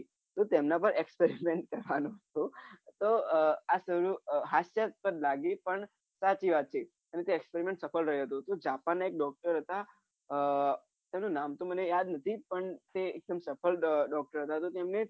અને તેમના પર expreriment કરવાનું હતું તો આહ લાગ્યું પણ સાચી વાત છે કેમ કે expreriment સફળ રહ્યો હતો કે japan ના એક doctor હતા તો આહ તેમનું નામ તો મને યાદ નથી પણ તે એકદમ સફળ doctor તો તેમની